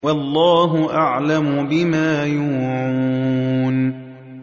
وَاللَّهُ أَعْلَمُ بِمَا يُوعُونَ